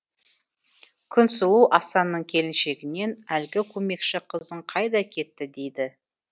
күнсұлу асанның келіншегінен әлгі көмекші қызың қайда кетті дейді